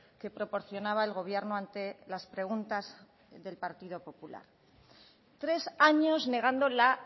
que proporcionaba el gobierno ante las preguntas del partido popular tres años negando la